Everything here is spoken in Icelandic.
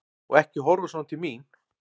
Og ekki horfa svona til mín!